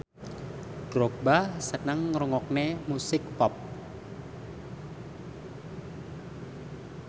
Drogba seneng ngrungokne musik pop